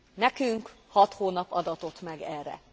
Nekünk hat hónap adatott meg erre.